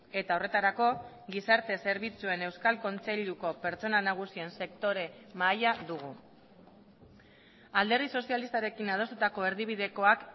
eta horretarako gizarte zerbitzuen euskal kontseiluko pertsona nagusien sektore mahaia dugu alderdi sozialistarekin adostutako erdibidekoak